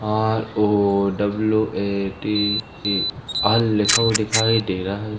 ROWATE L लिखा हुआ दिखाई दे रहा है।